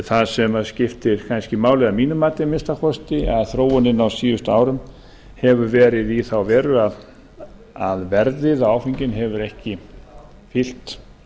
það sem skiptir kannski máli að mínu mati að minnsta kosti að þróunin á síðustu árum hefur verið í þá veru að verðið á áfenginu hefur ekki fylgt